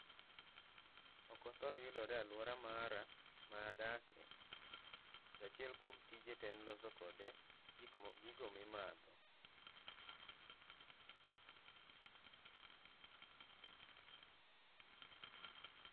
Ok othor yudore aluora mara ma adake, to achiel kuom tije ten loso kode gigo mimadho